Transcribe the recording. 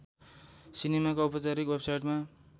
सिनेमाको औपचारिक वेवसाइटमा